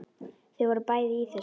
Þau voru bæði í þessu.